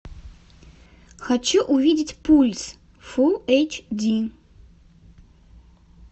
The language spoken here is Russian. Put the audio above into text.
хочу увидеть пульс фулл эйч ди